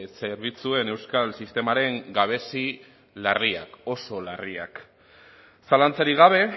zerbitzuen euskal sistemaren gabezi larriak oso larriak zalantzarik gabe